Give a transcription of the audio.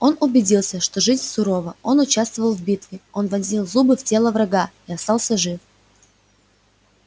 он убедился что жизнь сурова он участвовал в битве он вонзил зубы в тело врага и остался жив